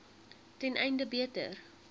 ten einde beter